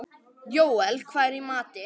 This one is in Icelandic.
Jóel, hvað er í matinn?